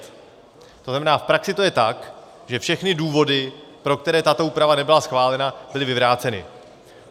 To znamená, v praxi to je tak, že všechny důvody, pro které tato úprava nebyla schválena, byly vyvráceny.